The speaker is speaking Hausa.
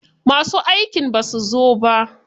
Masu aikin basu zo ba.